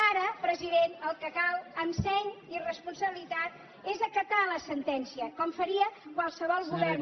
ara president el que cal amb seny i responsabilitat és acatar la sentència com faria qualsevol govern